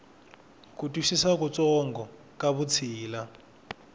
ku twisisa kutsongo ka vutshila